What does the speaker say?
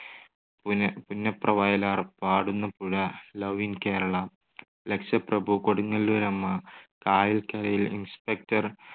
പുന്ന~പുന്നപ്രവയലാർ, Padunna Puzha, love in Kerala, Lakshaprabhu, Kodungallooramma, കായൽകരയിൽ, inspector,